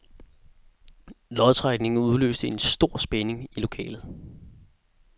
Lodtrækningen udløste stor spænding i lokalet.